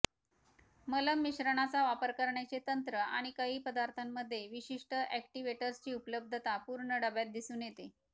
मलम मिश्रणाचा वापर करण्याचे तंत्र आणि काही पदार्थांमध्ये विशिष्ट ऍक्टीवेटर्सची उपलब्धता पूर्ण डब्यात दिसून येते